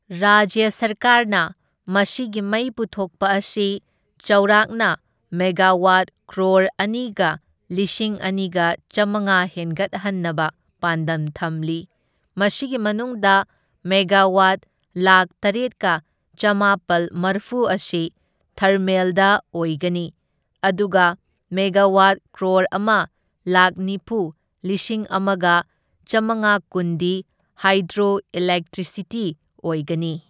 ꯔꯥꯖ꯭ꯌ ꯁꯔꯀꯥꯔꯅ ꯃꯁꯤꯒꯤ ꯃꯩ ꯄꯨꯊꯣꯛꯄ ꯑꯁꯤ ꯆꯥꯎꯔꯥꯛꯅ ꯃꯦꯒꯥꯋꯥꯠ ꯀ꯭ꯔꯣꯔ ꯑꯅꯤꯒ ꯂꯤꯁꯤꯡ ꯑꯅꯤꯒ ꯆꯥꯝꯃꯉꯥ ꯍꯦꯟꯒꯠꯍꯟꯅꯕ ꯄꯥꯟꯗꯝ ꯊꯝꯂꯤ, ꯃꯁꯤꯒꯤ ꯃꯅꯨꯡꯗ ꯃꯦꯒꯥꯋꯥꯠ ꯂꯥꯛꯈ ꯇꯔꯦꯠꯀ ꯆꯥꯝꯃꯥꯄꯜ ꯃꯔꯐꯨ ꯑꯁꯤ ꯊꯔꯃꯦꯜꯗ ꯑꯣꯏꯒꯅꯤ, ꯑꯗꯨꯒ ꯃꯦꯒꯥꯋꯥꯠ ꯀ꯭ꯔꯣꯔ ꯑꯃ ꯂꯥꯛꯈ ꯅꯤꯐꯨ ꯂꯤꯁꯤꯡ ꯑꯃꯒ ꯆꯥꯝꯃꯉꯥꯀꯨꯟꯗꯤ ꯍꯥꯏꯗ꯭ꯔꯣꯏꯂꯦꯛꯇ꯭ꯔꯤꯁꯤꯇꯤ ꯑꯣꯏꯒꯅꯤ꯫